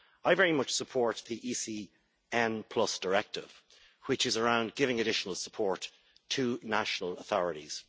I very much support the ECN Directive, which is about giving additional support to national authorities.